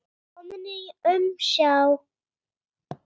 Kominn í umsjá